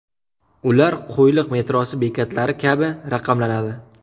Ular Qo‘yliq metrosi bekatlari kabi raqamlanadi .